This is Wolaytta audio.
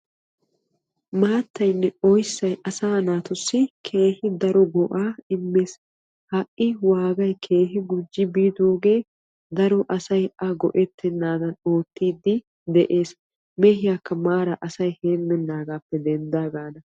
Maattaynne oyssay asaa naatussi keehi daro go'aa immees. Ha"i waagay keehi gujji biidoogee daro asay a go'ettennaadan oottiiddi de'ees. Mehiyaakka maara asay heemmennagaappe denddaagaana.